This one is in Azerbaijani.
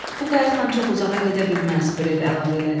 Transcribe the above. Bu qayıqla çox uzağa gedə bilməz, Bret əlavə elədi.